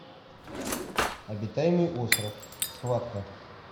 обитаемый остров схватка